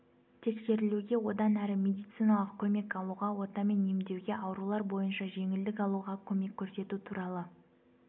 тексерілуге одан әрі медициналық көмек алуға отамен емдеуге аурулар бойынша жеңілдік алуға көмек көрсету туралы